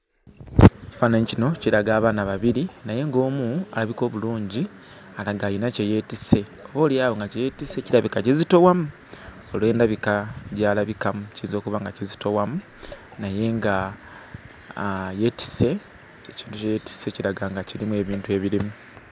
Ekifaananyi kino, kiraga abaana babiri naye ng'omu alabika obulungi alaga alina kye yeetisse, oboolyawo nga kye yeetisse kirabika kizitowamu olw'endabika gy'alabikamu; kiyinza okuba nga kizitowamu naye nga yeetisse, ekintu kye yeetisse kiraga nga kirimu ebintu ebirimu.